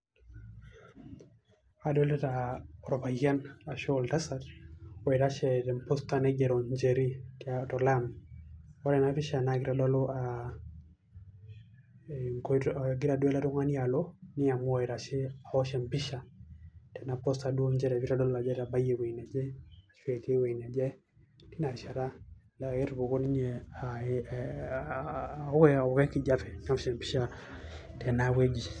Kadolita olpayian ashu oltaasat oitashe te posta naigero Njeri to laam. Kore ena pishaa naa keitodoluu nkotoo kegira doo ale ltung'ani aloo neamua aitashe aosh empisha tena posta doo nchere peitodol ajo etabayie ewueji naje etii ewueji naje teina rishata. Naa ketumooki ninye, tenewueji.